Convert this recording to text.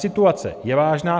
Situace je vážná.